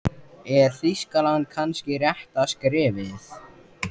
Er Þýskaland kannski rétta skrefið?